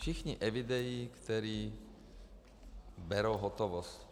Všichni evidují, kteří berou hotovost.